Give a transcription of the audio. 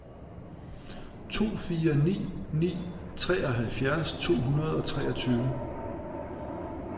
to fire ni ni treoghalvfjerds to hundrede og treogtyve